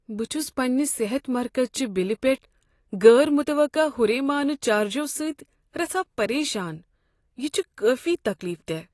بہٕ چھس پننہ صحت مرکز چہ بلہ پیٹھ غیر متوقع ہُریمانہ چارجو سۭتۍ رژھاہ پریشان، یہ چھ کٲفی تکلیف دہ۔